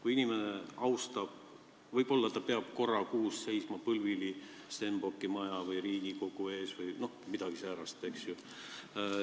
Kui inimene austab riiki, siis ta peab võib-olla korra kuus seisma põlvili Stenbocki maja või Riigikogu ees – midagi säärast, eks ju.